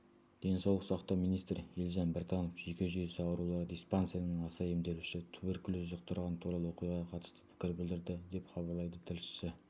денсаулық сақтау министрі елжан біртанов жүйке жүйесі аурулары диспансерінің аса емделушісі туберкулез жұқтырғаны туралы оқиғаға қатысты пікір білдірді деп хабарлайды тілшісі